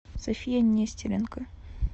софия нестеренко